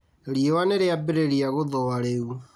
Riũa nĩrĩambĩrĩria gũthũa rĩu